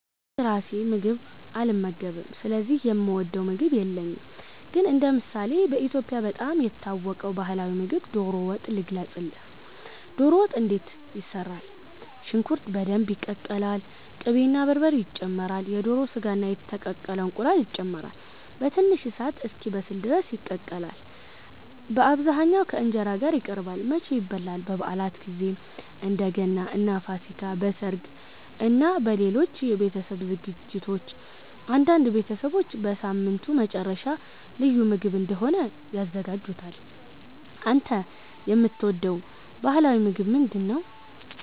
እኔ ራሴ ምግብ አልመገብም ስለዚህ የምወደው ምግብ የለኝም። ግን እንደ ምሳሌ በኢትዮጵያ በጣም የታወቀውን ባህላዊ ምግብ ዶሮ ወጥ ልገልጽልህ። ዶሮ ወጥ እንዴት ይሰራል? ሽንኩርት በደንብ ይቀቀላል። ቅቤ እና በርበሬ ይጨመራሉ። የዶሮ ሥጋ እና የተቀቀለ እንቁላል ይጨመራሉ። በትንሽ እሳት እስኪበስል ድረስ ይቀቀላል። በአብዛኛው ከ እንጀራ ጋር ይቀርባል። መቼ ይበላል? በበዓላት ጊዜ፣ እንደ ገና እና ፋሲካ። በሠርግ እና በሌሎች የቤተሰብ ዝግጅቶች። አንዳንድ ቤተሰቦች በሳምንቱ መጨረሻ ልዩ ምግብ እንደሆነ ያዘጋጁታል። አንተ የምትወደው ባህላዊ ምግብ ምንድነው?